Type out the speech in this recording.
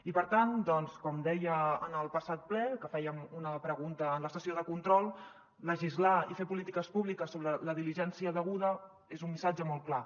i per tant com deia en el passat ple que fèiem una pregunta en la sessió de control legislar i fer polítiques públiques sobre la diligència deguda és un missatge molt clar